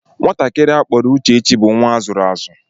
Nwatakịrị a akpọrọ Uchechi bụ nnwa a zụrụ azụ